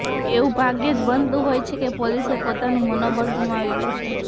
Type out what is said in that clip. એવું ભાગ્યે જ બનતું હોય છે કે પોલીસ પોતાનું મનોબળ ગુમાવી બેસે